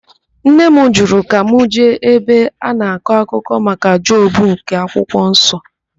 Nne m jụrụ ka m jee ebe a na-akọ maka Job nke akwụkwo nsọ.